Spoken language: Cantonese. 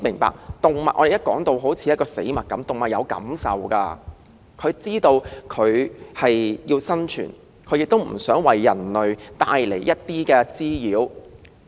說到動物時，當局將之視如死物，但動物也有感受，也有生存意志，並非故意為人類帶來滋擾。